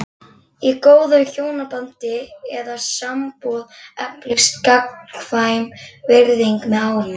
Í góðu hjónabandi eða sambúð eflist gagnkvæm virðing með árunum.